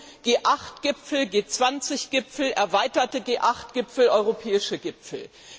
Wir hatten G8 Gipfel, G20 Gipfel, erweiterte G8 Gipfel, europäische Gipfel.